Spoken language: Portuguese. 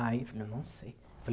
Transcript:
Aí eu falei, não sei.